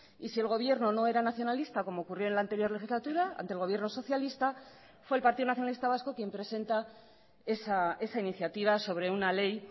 y si el gobierno no era nacionalista como ocurrió en la anterior legislatura ante el gobierno socialista fue el partido nacionalista vasco quien presenta esa iniciativa sobre una ley